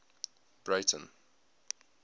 breyten